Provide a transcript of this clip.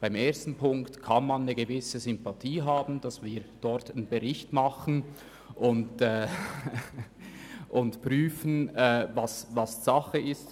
Für Ziffer 1 kann man eine gewisse Sympathie haben, damit wir einen Bericht erstellen lassen und prüfen können, was Sache ist.